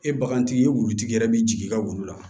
E bagantigi ye wulutigi yɛrɛ bɛ jigin i ka wulu la